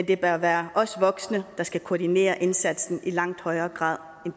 det bør være os voksne der skal koordinere indsatsen i langt højere grad